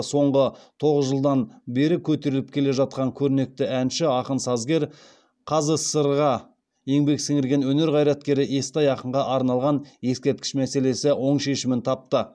соңғы тоғыз жылдан бері көтеріліп келе жатқан көрнекті әнші ақын сазгер қазсср ға еңбек сіңірген өнер қайраткері естай ақынға арналған ескерткіш мәселесі оң шешімін тапты